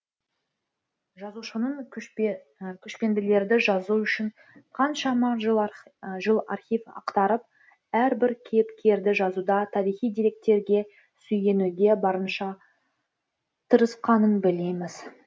жазушының көшпенділерді жазу үшін қаншама жыл архив ақтарып әрбір кейіпкерді жазуда тарихи деректерге сүйенуге барынша тырысқанын білеміз